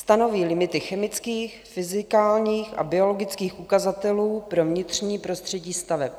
Stanoví limity chemických, fyzikálních a biologických ukazatelů pro vnitřní prostředí staveb.